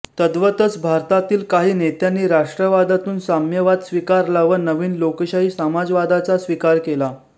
तद्वतच भारतातील काही नेत्यांनी राष्ट्रवादातून साम्यवाद स्वीकारला व नवीन लोकशाही समाजवादाचा स्वीकार केला